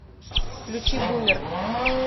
включи бумер